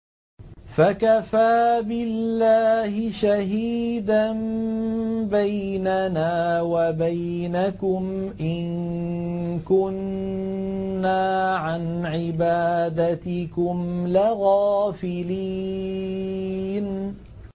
فَكَفَىٰ بِاللَّهِ شَهِيدًا بَيْنَنَا وَبَيْنَكُمْ إِن كُنَّا عَنْ عِبَادَتِكُمْ لَغَافِلِينَ